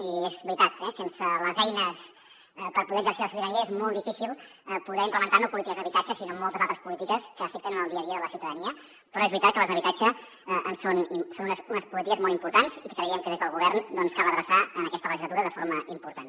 i és veritat eh sense les eines per poder exercir la sobirania és molt difícil poder implementar no polítiques d’habitatge sinó moltes altres polítiques que afecten en el dia a dia de la ciutadania però és veritat que les d’habitatge són unes polítiques molt importants i que creiem que des del govern cal adreçar en aquesta legislatura de forma important